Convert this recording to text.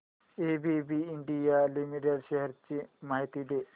ABB India limited shares ची माहिती दे